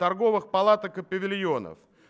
торговых палаток и павильонов